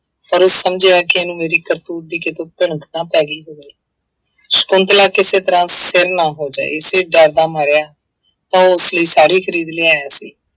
ਪਰ ਉਹ ਸਮਝਿਆ ਕਿ ਇਹਨੂੰ ਮੇਰੀ ਕਰਤੂਤ ਦੀ ਕਿਤੋਂ ਭਣਕ ਨਾ ਪੈ ਗਈ ਹੋਵੇ ਸਕੁੰਤਲਾ ਕਿਸੇ ਤਰ੍ਹਾਂ ਨਾ ਹੋ ਜਾਏ ਇਸੇ ਡਰ ਦਾ ਮਾਰਿਆ ਉਹ ਉਸ ਲਈ ਸਾੜੀ ਖ਼ਰੀਦ ਲਿਆਇਆ ਸੀ।